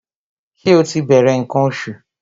Ṣé ó ti bẹ̀rẹ̀ ǹkan oṣù?